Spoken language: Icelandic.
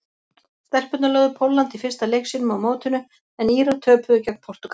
Stelpurnar lögðu Pólland í fyrsta leik sínum á mótinu en Írar töpuðu gegn Portúgal.